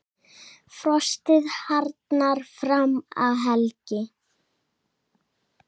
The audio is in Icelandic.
Frostið harðnar fram að helgi.